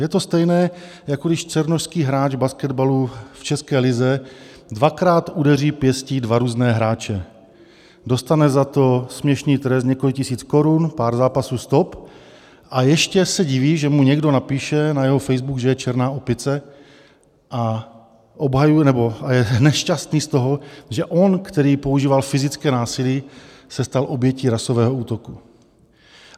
Je to stejné, jako když černošský hráč basketbalu v české lize dvakrát udeří pěstí dva různé hráče, dostane za to směšný trest několik tisíc korun, pár zápasů stop a ještě se diví, že mu někdo napíše na jeho facebook, že je černá opice, a je nešťastný z toho, že on, který používal fyzické násilí, se stal obětí rasového útoku.